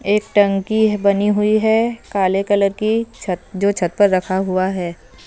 एक टंकी बनी हुई है काले कलर की छत जो छत पर रखा हुआ है।